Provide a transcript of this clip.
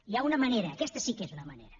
hi ha una manera aquesta sí que és una manera